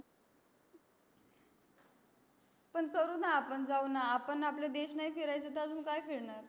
पण करू न आपण जाऊ न आपण आपला देश नाही फिरायच तर अजून काय फिरणार